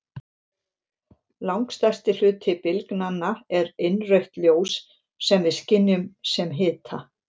Langstærsti hluti bylgnanna er innrautt ljós sem við skynjum sem hita.